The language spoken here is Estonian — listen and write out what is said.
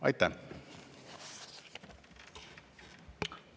Aitäh!